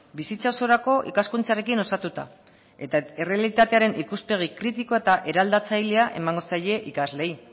bizitza osorako ikaskuntzarekin osatuta eta errealitatearen ikuspegi kritikoa eta eraldatzailea emango zaie ikasleei